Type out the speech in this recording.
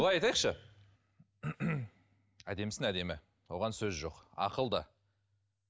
былай айтайықшы әдемісін әдемі оған сөз жоқ ақылды